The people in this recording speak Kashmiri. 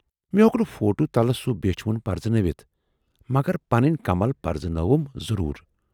مے ہیوک نہٕ فوٹو تلہٕ سُہ بیچھِ وُن پرزٕنٲوِتھ، مگر پنٕنۍ کمل پرزنٲوٕم ضروٗر۔